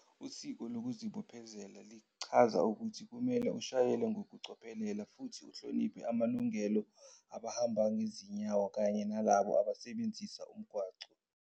Isiko lokuzibophezelo lichaza ukuthi kumele ushayele ngokucophelela futhi uhloniphe amalungelo abahamba ngezinyawo kanye nalabo abasebenzisa umgwaqo.